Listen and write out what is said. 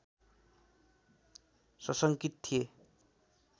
सशङ्कित थिए